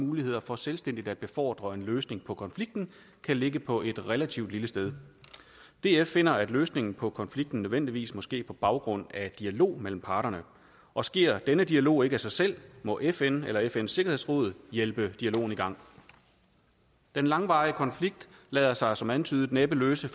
muligheder for selvstændigt at befordre en løsning på konflikten kan ligge på et relativt lille sted df finder at løsningen på konflikten nødvendigvis må ske på baggrund af dialog mellem parterne og sker denne dialog ikke af sig selv må fn eller fns sikkerhedsråd hjælpe dialogen i gang den langvarige konflikt lader sig som antydet næppe løse